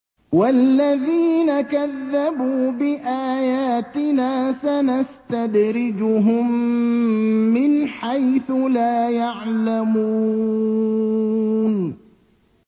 وَالَّذِينَ كَذَّبُوا بِآيَاتِنَا سَنَسْتَدْرِجُهُم مِّنْ حَيْثُ لَا يَعْلَمُونَ